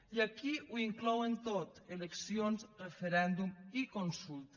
i aquí ho inclouen tot eleccions referèndum i consulta